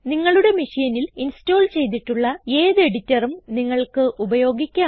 നിങ്ങളുടെ മെഷീനിൽ ഇൻസ്റ്റോൾ ചെയ്തിട്ടുള്ള ഏത് എഡിറ്ററും നിങ്ങൾക്ക് ഉപയോഗിക്കാം